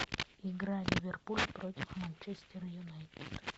игра ливерпуль против манчестера юнайтед